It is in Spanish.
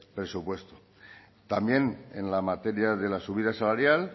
presupuesto también en la materia de la subida salarial